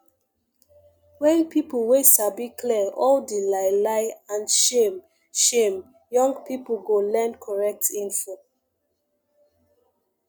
wen peolpe wey sabi clear all di lie lie and shame shame young people go learn correct info